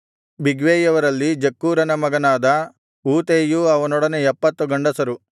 ಬಿಗ್ವೈಯವರಲ್ಲಿ ಜಕ್ಕೂರನ ಮಗನಾದ ಊತೈಯೂ ಅವನೊಡನೆ 70 ಗಂಡಸರು